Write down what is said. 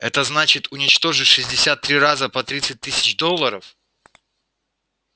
это значит уничтожить шестьдесят три раза по тридцать тысяч долларов